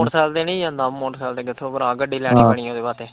Motorcycle ਤੇ ਨੀ ਜਾਂਦਾ, ਮੋਟਰਸਾਈਕਲ ਤੇ ਕਿੱਥੋਂ ਭਰਾ ਗੱਡੀ ਲੈਣੀ ਪੈਣੀ ਓਦੇ ਵਾਸਤੇ।